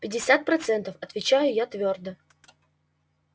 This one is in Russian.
пятьдесят процентов отвечаю я твёрдо